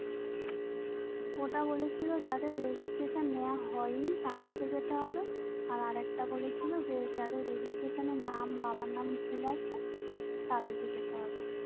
ওটা বলেছিলো যাদের Registration নেয়া হয়নি তাদের যেতে হবে আর একটা বলেছিলো যাদের Registration এ নাম বাবার নাম ভূল আছে তাদের যেতে হবে